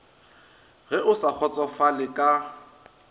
ge o sa kgotsofale ka